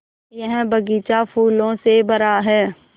यह बग़ीचा फूलों से भरा है